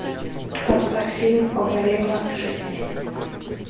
поставь фильм огарева шесть